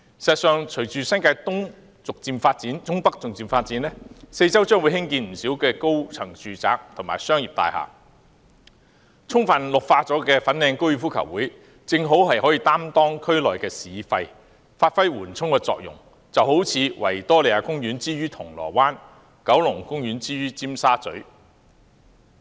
事實上，隨着新界東北逐漸發展，四周將會興建不少高層住宅和商業大廈，充分綠化的粉嶺高爾夫球場正好擔當區內"市肺"，發揮緩衝作用，就好像維多利亞公園之於銅鑼灣，九龍公園之於尖沙咀。